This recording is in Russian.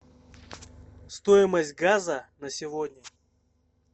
стоимость газа на сегодня